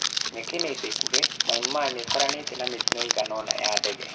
Mĩaka-inĩ ya ica ikuhĩ, Mynmar nĩ ĩkoranĩtĩ na mĩtino iigana ũna ya ndege.